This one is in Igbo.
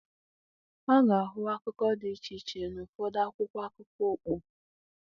A ga-ahụ akụkọ dị iche iche n'ụfọdụ akwụkwọ akụkọ ọkpụ.